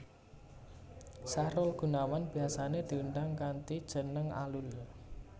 Sahrul Gunawan biyasané diundang kanthi jeneng Alul